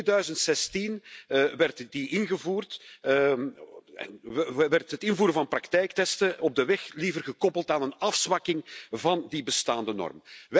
In 2016 werd die ingevoerd en werd het invoeren van praktijktesten op de weg liever gekoppeld aan een afzwakking van die bestaande norm.